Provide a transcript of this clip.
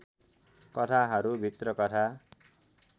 कथाहरूभित्र कथा